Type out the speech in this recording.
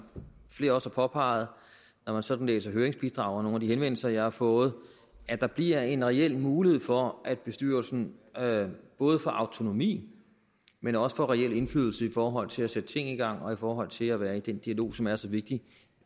flere også har påpeget når man sådan læser høringsbidrag og nogle af de henvendelser jeg har fået at der bliver en reel mulighed for at bestyrelsen både får autonomi men også får reel indflydelse i forhold til at sætte ting i gang og i forhold til at være i den dialog som er så vigtig